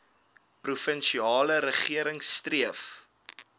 provinsiale regering streef